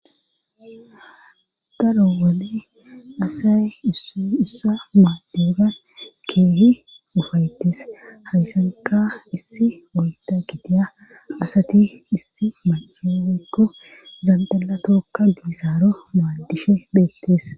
daro wode asay uussa maaddeban keehi ufayettis hawysanka issi woyta gidiya asati issi macheeko zandala tokka diisaaro maaddihe bheettis